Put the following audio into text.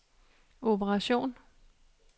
operation